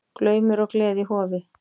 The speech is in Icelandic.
Glaumur og gleði í Hofi